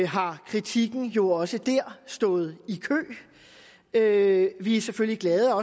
har kritikerne jo også der stået i kø vi er selvfølgelig glade